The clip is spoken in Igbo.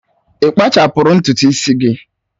Ị kpachapụrụ ntutu isi gị?